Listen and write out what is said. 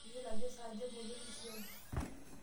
Meyioloi ajo saa aja eboli orkisiagi.